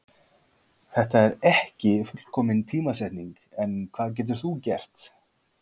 Þetta er ekki fullkomin tímasetning en hvað getur þú gert?